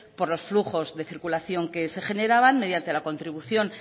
por los flujos de circulación que se generaban mediante la contribución